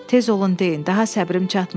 Tez olun deyin, daha səbrim çatmır.